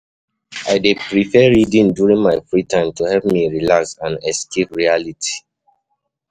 I dey prefer reading during my free time to help me relax and escape reality.